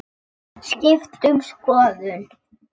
Skipt um skoðun.